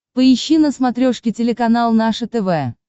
поищи на смотрешке телеканал наше тв